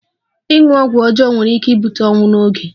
Ịṅụ ọgwụ ọjọọ nwere ike ibute ọnwụ n'oge.